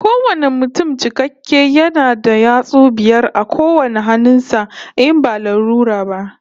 Kowane mutum cikakke yana da yatsu biyar a kowane hannun sa, in ba lalura ba